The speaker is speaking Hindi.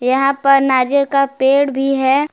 यहां पर नारियल का पेड़ भी है।